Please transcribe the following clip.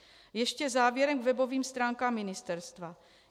Ještě závěrem k webovým stránkám ministerstva.